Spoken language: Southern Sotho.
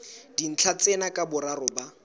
dintlha tsena ka boraro ba